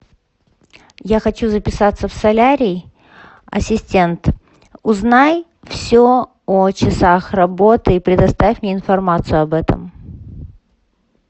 я хочу записаться в солярий ассистент узнай все о часах работы и предоставь мне информацию об этом